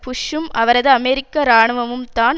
புஷ்சும் அவரது அமெரிக்க இராணுவமும் தான்